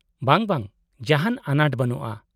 -ᱵᱟᱝ, ᱵᱟᱝ, ᱡᱟᱦᱟᱸᱱ ᱟᱱᱟᱴ ᱵᱟᱱᱩᱜᱼᱟ ᱾